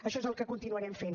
això és el que continuarem fent